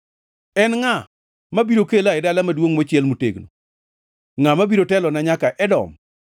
En ngʼa mabiro kela e dala maduongʼ mochiel motegno? Ngʼa mabiro telona nyaka Edom?